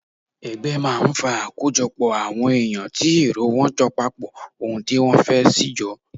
Ẹgbẹ́ máa ń fa àkójọpọ̀ àwọn èyàn tí èrò wọ́n jọ papọ̀ ohun tí wọ́n fẹ́ sì jọ.